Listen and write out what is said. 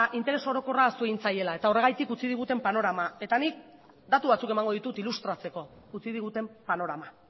interes orokorra ahaztu egin zaiela eta horregatik utzi diguten panorama eta nik datu batzuk emango ditut ilustratzeko utzi diguten panorama